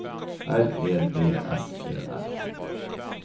R E D S E L